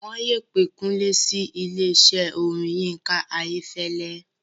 Wọ́n yóò pé Kúnlé sí ilésẹ́ orin Yinka Ayefele